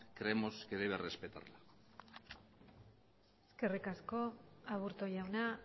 creemos que debe respetarlo eskerrik asko aburto jauna